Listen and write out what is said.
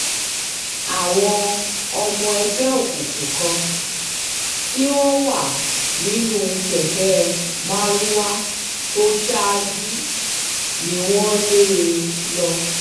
àwọn ọmọ ẹgbẹ́ òkùnkùn kan tí wọ́n wà nínú kẹ̀kẹ́ marwa tó ṣáájú um ni wọ́n ń lé um lọ